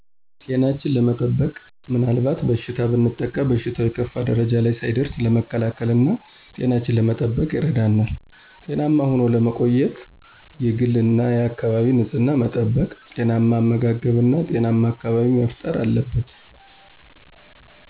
ጤናችን ለመጠበቅና ምናልባት በበሽታ ብንጠቃ በሽታው የከፋ ደረጃ ላይ ሳይደርስ ለመከላከልና ጤናችን ለመጠበቅ ይረዳናል። ጤናማ ሆኖ ለመቆየት የግልና የአካባቢ ንፅህና መጠበቅ፣ ጤናማ አመጋገብ እና ጤናማ አካባቢ መፈጠር አለበት።